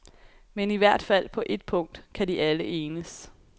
Men i hvert fald på et punkt kan de alle enes.